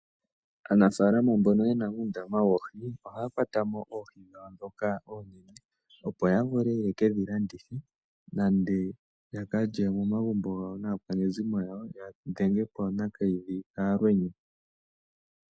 Aanafalama mbono yena uundama woohi ohaya kwata mo oohi dhawo ndhoka oonene opo ya vule yeke dhi landithe nenge yaka lye momagumbo naakwanezimo yawo ya dhengepo Nakayidhi kaalwenya.